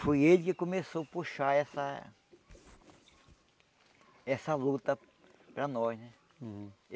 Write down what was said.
Foi ele que começou a puxar essa essa luta para nós né. Hum